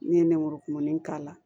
Ne ye nɛmurukumuni k'a la